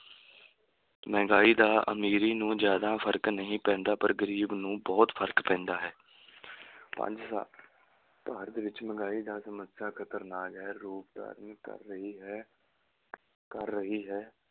ਮਹਿੰਗਾਈ ਦਾ ਅਮੀਰੀ ਨੂੰ ਜ਼ਿਆਦਾ ਫਰਕ ਨਹੀਂ ਪੈਂਦਾ ਪਰ ਗਰੀਬ ਨੂੰ ਬਹੁਤ ਫਰਕ ਪੈਂਦਾ ਹੈ ਪੰਜ ਸਾ~ ਭਾਰਤ ਵਿੱਚ ਮਹਿੰਗਾਈ ਦਾ ਸਮੱਸਿਆ ਖ਼ਤਰਨਾਕ ਹੈ ਰੂਪ ਧਾਰਨ ਕਰ ਰਹੀ ਹੈ ਕਰ ਰਹੀ ਹੈ।